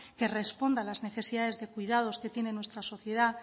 que responda a las necesidades de cuidados que tiene nuestra sociedad